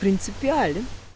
принципиален